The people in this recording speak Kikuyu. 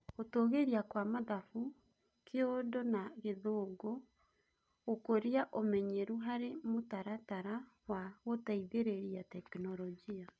Gũtũgĩria kwa mathabu, Kiurdu na gĩthũngũ; Gũkũria ũmenyeru harĩ mũtaratara wa gũteithĩrĩria tekinoronjĩ.